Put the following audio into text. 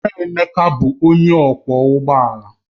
Nna Emeka bụ onye ọkwọ ụgbọ ala